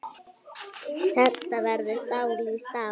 Þetta verður stál í stál.